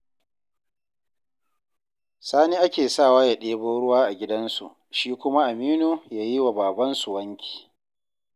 Sani ake sawa ya ɗebo ruwa a gidansu, shi kuma Aminu ya yi wa babansu wanki